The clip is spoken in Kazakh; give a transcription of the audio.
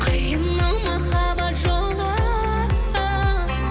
қиын ау махаббат жолы